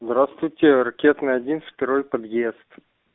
здравствуйте ракетная один второй подъезд